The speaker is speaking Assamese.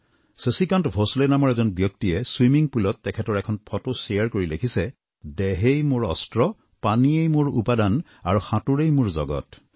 শচীকান্ত ভোচলে নামৰ এজন ব্যক্তিয়ে ছুইমিং পুলত তেখেতৰ এখন ফটো শ্বেয়াৰ কৰি লিখিছে দেহেই মোৰ অস্ত্ৰ পানীয়েই মোৰ উপাদান আৰু সাঁতোৰেই মোৰ জগত